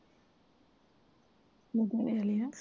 ਮੈਂ ਓਦੋਂ ਵੇਖ ਲਿਆ